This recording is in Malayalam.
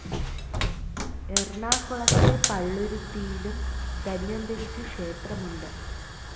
എറണാകുളത്തെ പള്ളുരുത്തിയിലും ധന്വന്തരിക്ക് ക്ഷേത്രമുണ്ട്.